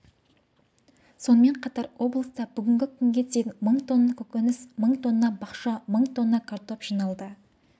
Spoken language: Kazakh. сонымен қатар облыста бүгінгі күнге дейін мың тонна көкөніс мың тонна бақша мың тонна картоп жиналды